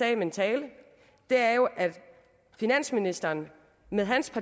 i min tale er jo at finansministeren med